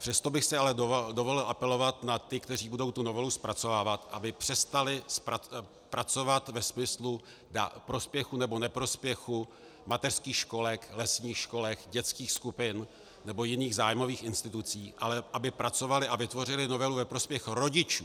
Přesto bych si ale dovolil apelovat na ty, kteří budou tu novelu zpracovávat, aby přestali pracovat ve smyslu prospěchu nebo neprospěchu mateřských školek, lesních školek, dětských skupin nebo jiných zájmových institucí, ale aby pracovali a vytvořili novelu ve prospěch rodičů.